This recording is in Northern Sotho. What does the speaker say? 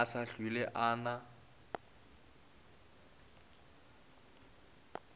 a sa hlwele a na